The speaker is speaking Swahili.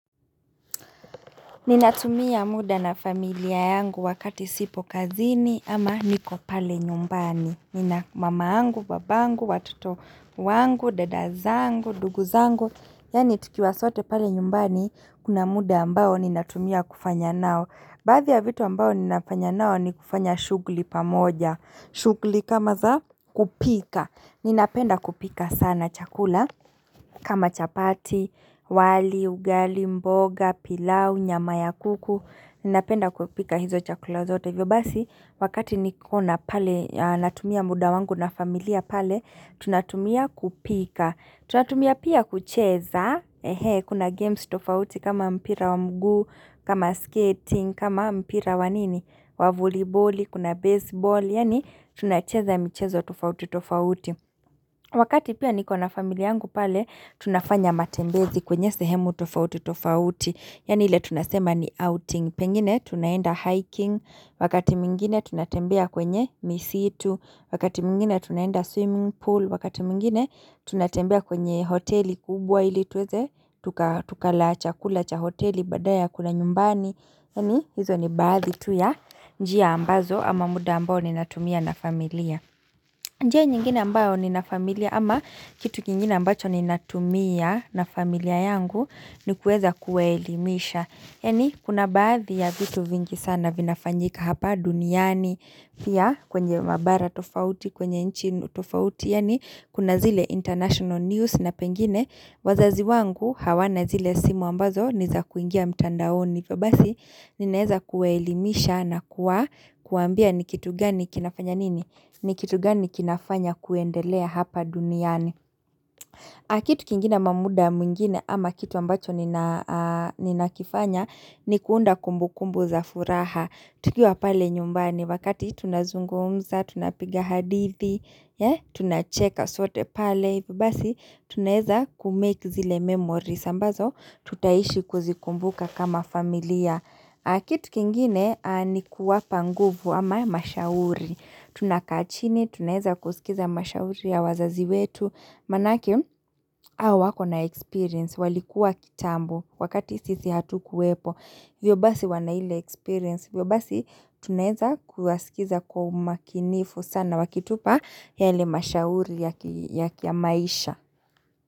Ninatumia muda na familia yangu wakati sipo kazini ama niko pale nyumbani Nina mama yangu, babangu, watoto wangu, dada zangu, ndugu zangu Yaani tukiwa sote pale nyumbani kuna muda ambao ninatumia kufanya nao Baadhi ya vitu ambao ninafanya nao ni kufanya shughuli pamoja shughuli kama za kupika Ninapenda kupika sana chakula kama chapati, wali, ugali, mboga, pilau, nyama ya kuku Ninapenda kupika hizo chakula zote hivyo basi, wakati niko na pale, natumia muda wangu na familia pale Tunatumia kupika Tunatumia pia kucheza Kuna games tofauti kama mpira wa mguu kama skating, kama mpira wa nini Wavoliboli, kuna baseball Yaani tunacheza michezo tofauti tofauti Wakati pia niko na familia yangu pale tunafanya matembezi kwenye sehemu tofauti tofauti Yaani ile tunasema ni outing Pengine tunaenda hiking Wakati mwingine tunatembea kwenye misitu Wakati tunaenda swimming pool wakati mwingine tunatembea kwenye hoteli kubwa ili tuweze Tukala chakula cha hoteli badala ya kula nyumbani Yaani hizo ni baadhi tu ya njia ambazo ama muda ambao ninatumia na familia njia nyingine ambayo nina familia ama kitu kingine ambacho ninatumia na familia yangu ni kuweza kuwaelimisha Yaani kuna baadhi ya vitu vingi sana vinafanyika hapa duniani Pia kwenye mabara tofauti, kwenye nchi tofauti Yaani kuna zile international news na pengine wazazi wangu hawana zile simu ambazo ni za kuingia mtandaoni hivyo basi ninaeza kuwaelimisha na kuwaambia ni kitu gani kinafanya nini ni kitu gani kinafanya kuendelea hapa duniani kitu kingine ama muda mwingine ama kitu ambacho ninakifanya ni kuunda kumbukumbu za furaha tukiwa pale nyumbani wakati tunazungumza, tunapiga hadithi Tunacheka sote pale hivyo Basi tunaeza kumake zile memory ambazo tutaishi kuzikumbuka kama familia kitu kingine ni kuwapa nguvu ama mashauri Tunakaa chini, tunaeza kusikiza mashauri ya wazazi wetu, maanake hawa wako na experience, walikuwa kitambo, wakati sisi hatukuwepo, hivyo basi wana ile experience, hivyo basi tunaeza kuwasikiza kwa umakinifu sana wakitupa yale mashauri ya kimaisha.